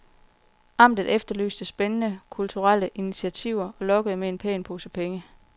Amtet efterlyste spændende kulturelle initiativer og lokkede med en pæn pose penge.